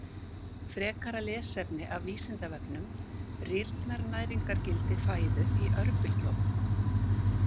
Frekara lesefni af Vísindavefnum:: Rýrnar næringargildi fæðu í örbylgjuofnum?